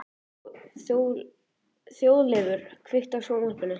Þjóðleifur, kveiktu á sjónvarpinu.